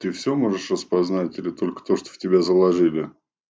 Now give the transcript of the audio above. ты все можешь распознать или только то что в тебя заложили